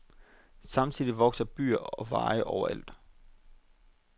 Samtidig vokser byer og veje overalt.